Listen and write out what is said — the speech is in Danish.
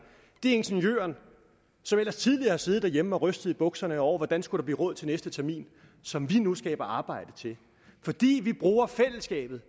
det er ingeniøren som ellers tidligere har siddet derhjemme og rystet i bukserne over hvordan der skulle blive råd til næste termin som vi nu skaber arbejde til fordi vi bruger fællesskabet